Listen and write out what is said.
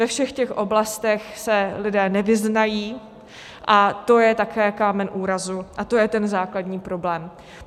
Ve všech těch oblastech se lidé nevyznají, a to je také kámen úrazu a to je ten základní problém.